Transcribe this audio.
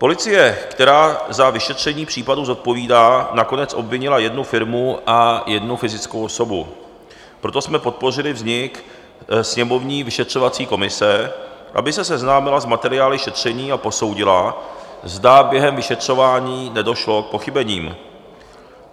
Policie, která za vyšetření případu zodpovídá, nakonec obvinila jednu firmu a jednu fyzickou osobu, proto jsme podpořili vznik sněmovní vyšetřovací komise, aby se seznámila s materiály šetření a posoudila, zda během vyšetřování nedošlo k pochybením.